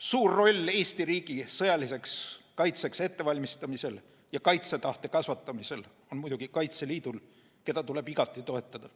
Suur roll Eesti riigi sõjaliseks kaitseks ettevalmistamisel ja kaitsetahte kasvatamisel on muidugi Kaitseliidul, keda tuleb igati toetada.